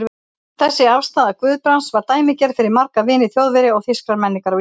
Þessi afstaða Guðbrands var dæmigerð fyrir marga vini Þjóðverja og þýskrar menningar á Íslandi.